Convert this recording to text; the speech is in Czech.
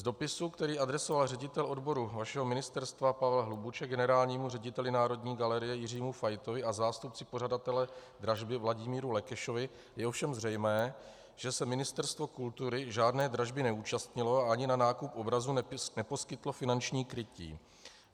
Z dopisu, který adresoval ředitel odboru vašeho ministerstva Pavel Hlubuček generálnímu řediteli Národní galerie Jiřímu Faitovi a zástupci pořadatele dražby Vladimíru Lekešovi, je ovšem zřejmé, že se Ministerstvo kultury žádné dražby neúčastnilo a ani na nákup obrazu neposkytlo finanční krytí.